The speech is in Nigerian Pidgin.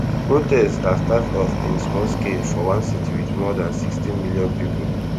protests start start off in small scale for one city wit more dan sixteen million pipo